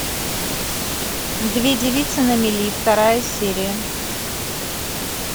две девицы на мели вторая серия